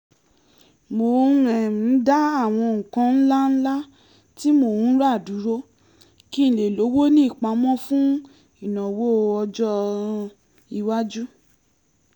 mò ń um dá àwọn nǹkan ńláńlá tí mò ń rà dúró kí n lè lówó ní ìpámọ́ fún ìnáwọ́ ọjọ́-iwájú